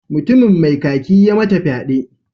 Mutumin mai kaki ya mata fyade.